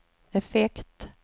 effekt